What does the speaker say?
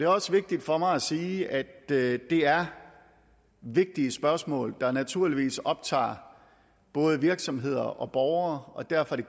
også vigtigt for mig at sige at det er vigtige spørgsmål der naturligvis optager både virksomheder og borgere og derfor er